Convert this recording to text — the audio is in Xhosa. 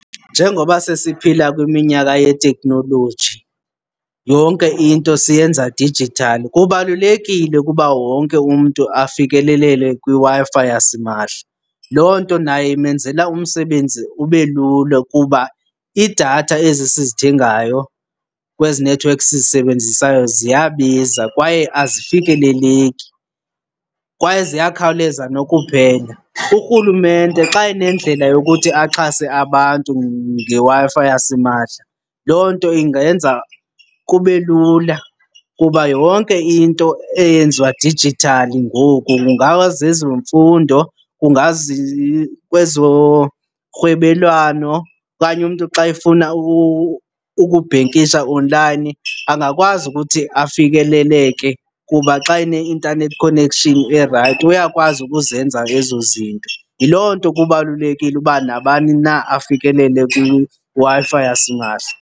Njengoba sesiphila kwiminyaka yeteknoloji yonke into siyenza dijithali, kubalulekile ukuba wonke umntu afikelelele kwiWi-Fi yasimahla. Loo nto naye imenzela umsebenzi ube lula kuba iidatha ezi sizithengayo kwezi nethiwekhi sizisebenzisayo ziyabiza kwaye azifikeleleki kwaye ziyakhawuleza nokuphela. URhulumente xa enendlela yokuthi axhase abantu ngeWi-Fi yasimahla loo nto ingenza kube lula kuba yonke into eyenziwa dijithali ngoku, kungazezemfundo kungazi kwezorhwebelwano okanye umntu xa efuna ukubhenkisha online, angakwazi ukuthi afikeleleke kuba xa ene-internet connection erayithi uyakwazi ukuzenza ezo zinto. Yiloo nto kubalulekile ukuba nabani na afikelele kwiWi-Fi yasimahla.